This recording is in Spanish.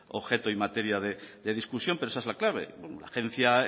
objeto y materia de discusión pero esa es la clave la agencia